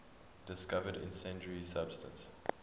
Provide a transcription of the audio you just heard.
discovered incendiary substance